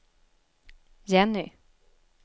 Jenny